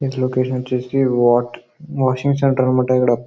ఈ లోకేషన్ వచ్చేసి washing centre అన్నమాట. ఇక్కడ --